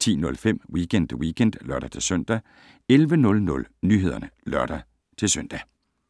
10:05: Weekend Weekend (lør-søn) 11:00: Nyhederne (lør-søn)